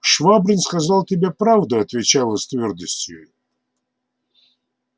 швабрин сказал тебе правду отвечал я с твёрдостью